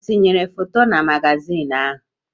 Ha etinyere foto na magazin ahụ?